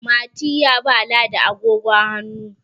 Mati ya ba ladi agogon hannu